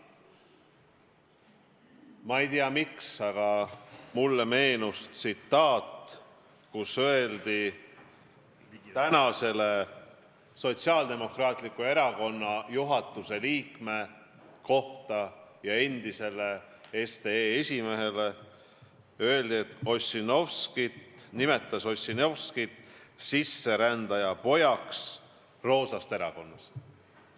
Ma ei tea, miks, aga mulle meenus, kui Sotsiaaldemokraatliku Erakonna praeguse juhatuse liikme ja endise SDE esimehe kohta öeldi, et ta on sisserändaja poeg roosast erakonnast.